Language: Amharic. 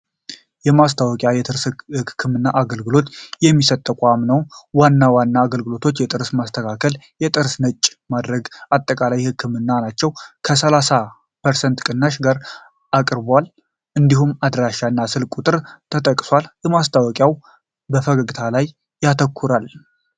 ማስታወቂያ የጥርስ ህክምና አገልግሎት የሚሰጥ ተቋም ነው። ዋና ዋና አገልግሎቶች የጥርስ መስተካከል ፣ ጥርስ ነጭ ማድረግ እና አጠቃላይ የጥርስ ህክምና ናቸው። ከ30% ቅናሽ ጋር ቀርቦአል፣ እንዲሁም አድራሻ እና ስልክ ቁጥር ተጠቅሰዋል። ማስታወቂያው በፈገግታ ላይ ያተኩራል።